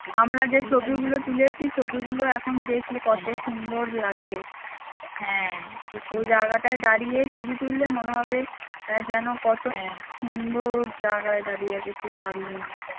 আমরা যে ছবি গুলো তুলেছি সে ছবি গুলো এখন দেখলে কত সুন্দর লাগে ওই জায়গাটায় দাড়িয়ে ছবি তুললে মনে হবে আহ যেনো কত সুন্দর জাগায় দাড়িয়েছি কী দারুন